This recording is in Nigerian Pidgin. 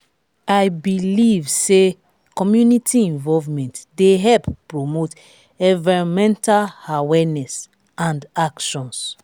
i dey believe say community involvement dey help promote envirnmental awareness and actions.